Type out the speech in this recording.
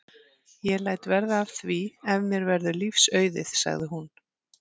Ég læt verða af því ef mér verður lífs auðið sagði hún.